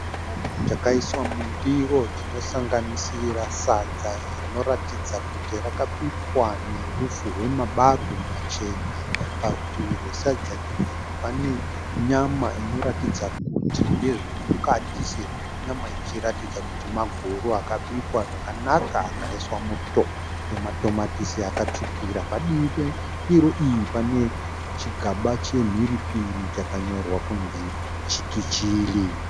Chikafu chakaiswa mundiro chinosanganisira sadza rinoratidza kuti rakabikwa neupfu hwe ma barwe machena. Parutivi rwesadza iri pane nyama inoratidza kuti ndezve mukati sezvo nyama ichiratidza kuti maguru akabikwa zvakanaka akaiswa muto nematomatisi akatsvukira . Padivi pe ndiro iyi pane chigaba chemhiripiri chakanyorwa kunzi Chiki Chili.